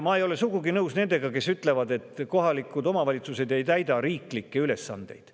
Ma ei ole sugugi nõus nendega, kes ütlevad, et kohalikud omavalitsused ei täida riiklikke ülesandeid.